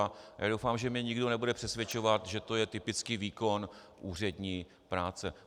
A já doufám, že mě nikdo nebude přesvědčovat, že to je typický výkon úřední práce.